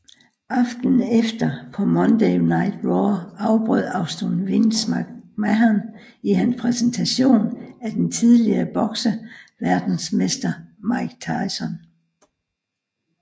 Aftenen efter på Monday Night Raw afbrød Austin Vince McMahon i hans præsentation af den tidligere bokseverdensmester Mike Tyson